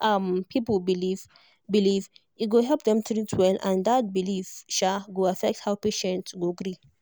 um people believe believe e go help dem treat well and that belief um go affect how patient go gree